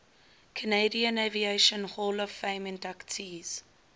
canadian aviation hall of fame inductees